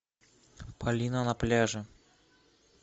полина на пляже